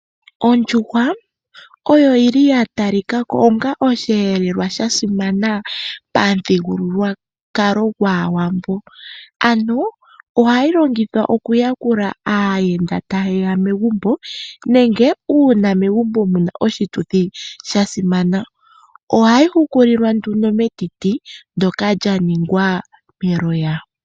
Ondjuhwa oyo oyili yatalikako onga osheelelwa shasimana pamuthigululwakala gwAawambo . Ano ohayi longithwa oku yakula aayenda taye ya megumbo nenge uuna megumbo muna oshituthi shasimana. Ohayi hukulilwa metiti ndjoka lyaningwa meloya.